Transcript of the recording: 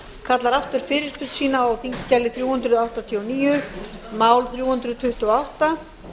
kallar aftur fyrirspurn sína á þingskjali þrjú hundruð áttatíu og níu mál þrjú hundruð tuttugu og átta